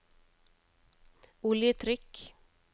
oljetrykk